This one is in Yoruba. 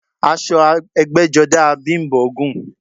Aṣọ ẹgbẹ́jọdá a Bím̀bọ́ gùn